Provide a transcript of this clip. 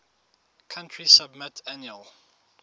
country submit annual